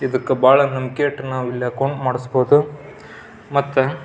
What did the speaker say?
ಇದಕ್ ಬಹಳ ನಂಬಿಕೆ ಇಟ್ಟು ನಾವು ಇಲ್ಲೇ ಅಕೌಂಟ್ ಮಾಡಿಸಬಹುದು. ಮತ್ತ --